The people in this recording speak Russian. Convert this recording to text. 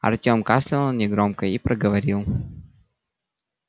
артем кашлянул негромко и проговорил